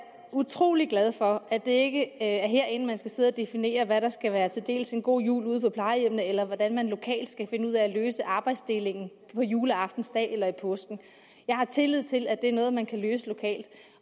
utrolig glad for at det ikke er herinde man skal sidde og definere hvad der skal være en god jul ude på plejehjemmene eller hvordan man lokalt skal finde ud af at løse arbejdsdelingen på juleaftensdag eller i påsken jeg har tillid til at det er noget man kan løse lokalt